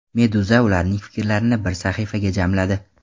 Meduza ularning fikrlarini bir sahifaga jamladi.